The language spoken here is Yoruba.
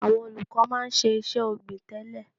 Àwọn olùkọ́ máa ń ṣe iṣẹ́ ọ̀gbìn tẹ́lẹ̀.